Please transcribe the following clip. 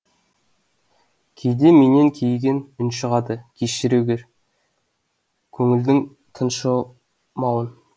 кейде менен кейіген үн шығады кешіре гөр көңілдің тыншымауын